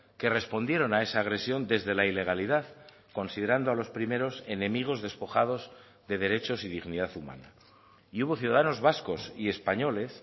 que respondieron a esa agresión desde la ilegalidad considerando a los primeros enemigos despojados de derechos y dignidad humana y hubo ciudadanos vascos y españoles